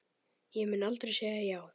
Ég mun aldrei segja já.